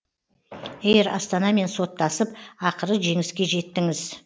эйр астанамен соттасып ақыры жеңіске жеттіңіз